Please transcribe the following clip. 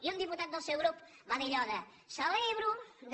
i un diputat del seu grup va dir allò celebro que